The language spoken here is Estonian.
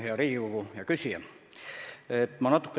Hea Riigikogu ja küsija!